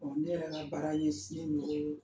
O ni ne yɛrɛ ka baara sinnen don